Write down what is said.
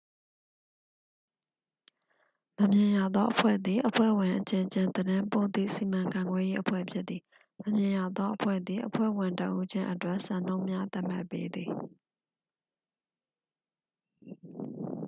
"""မမြင်ရသော အဖွဲ့" သည် အဖွဲ့ဝင်အချင်းချင်း သတင်းပို့သည့် စီမံခန့်ခွဲရေး အဖွဲ့ဖြစ်သည်။ မမြင်ရသောအဖွဲ့သည် အဖွဲ့ဝင်တစ်ဦးချင်းအတွက် စံနှုန်းများ သတ်မှတ်ပေးသည်။